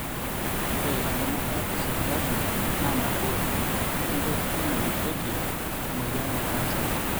ore entemata esipitali na nabo onkoitoi najurieki emoyian e canser.